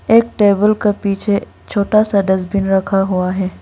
एक टेबल का पीछे छोटा सा डस्टबिन रखा हुआ है।